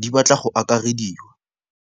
di batla go akarediwa.